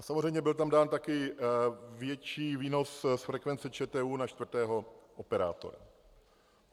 A samozřejmě byl tam dán taky větší výnos z frekvence ČTÚ na čtvrtého operátora.